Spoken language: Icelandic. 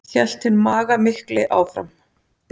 hélt hinn magamikli áfram.